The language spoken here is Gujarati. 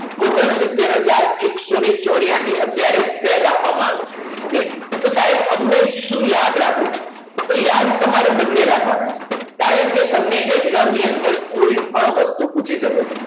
ઓગણ સિતર હજાર અકસો ને ચોર્યાસી અત્યારે સેલ આપવામાં આવે છે ઓકે તો સાહેબ અમારે શું યાદ રાખવું તો યાર તમારે બને રાખવાના કારણ કે તમને exam ની અંદર કોઈપણ વસ્તુ પૂછી શકે છે